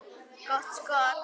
Gott skot.